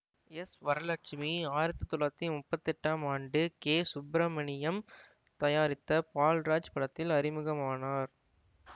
S Varalakshmi ஆயிரத்தி தொள்ளாயிரத்தி முப்பத்தி எட்டாம் ஆண்டு கே சுப்பிரமணியம் தயாரித்த பால்ராஜ் படத்தில் அறிமுகமானார்